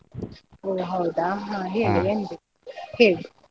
ಓ ಹೌದಾ ಹಾ ಹೇಳಿ ಹೇಳಿ?